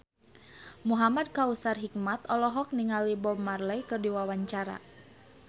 Muhamad Kautsar Hikmat olohok ningali Bob Marley keur diwawancara